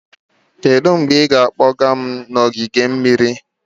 Kedu mgbe ị ga-akpọga m n'ogige mmiri?